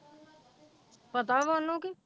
ਪਤਾ ਵਾ ਉਹਨੂੰ ਕਿ,